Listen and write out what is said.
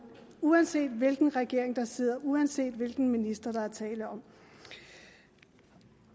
uanset hvilken regering der sidder og uanset hvilken minister der er tale om og